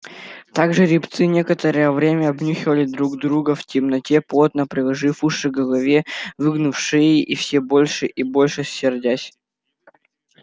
так жеребцы некоторое время обнюхивали друг друга в темноте плотно приложив уши к голове выгнув шеи и все больше и больше сердясь